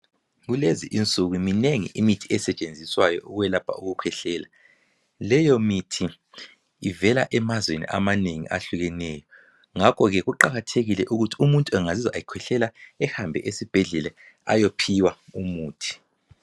kulezi inuku minengi imithi esetshenziswayo ukwelapha ukukhwehlela leyo mithi ivela emazweni amanengi ahlukeneyo ngakho ke kuqakathekile ukuthi umuntu engazizwa ekhwehlela ehambe esibhedlela ayophiwa umuthi